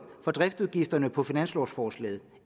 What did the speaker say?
for driftsudgifter på finanslovsforslaget